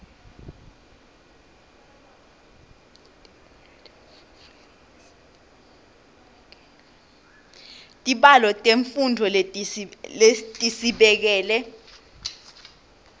tibalo temfundvo lesitibekele